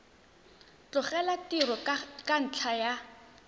tlogela tiro ka ntlha ya